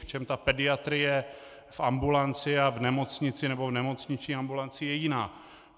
V čem ta pediatrie v ambulanci a v nemocnici nebo v nemocniční ambulanci je jiná?